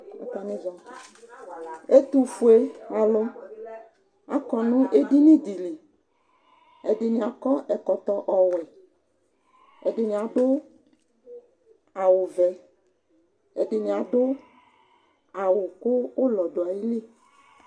ɛtofue alo akɔ no edini di li ɛdini akɔ ɛkɔtɔ ɔwɛ ɛdini ado awu vɛ ɛdini ado awu kò ulɔ do ayili